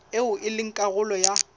eo e leng karolo ya